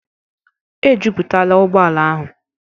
Ejupụtala ụgbọ ala ahụ.